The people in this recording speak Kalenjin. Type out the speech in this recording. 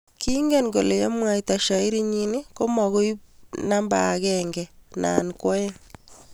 kingen kole yemwaita shairi nyii ko mo koibu numba akenge nya koeng